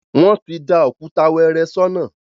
Wọ́n ti da òkúta wẹ́ẹ́rẹ́ sọ́nà